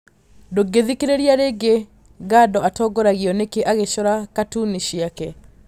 Ndũngĩthikĩrĩria rĩngĩ Gado atongoragio nĩkĩ agĩcora katuni ciake?